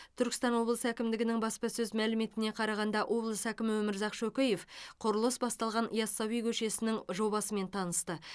түркістан облысы әкімдігінің баспасөз мәліметтеріне қарағанда облыс әкімі өмірзақ шөкеев құрылысы басталған ясауи көшесінің жобасымен танысты